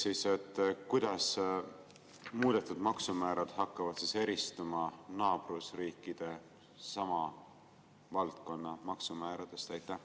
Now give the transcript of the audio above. Teiseks, kuidas muudetud maksumäärad hakkavad eristuma naaberriikide sama valdkonna maksumääradest?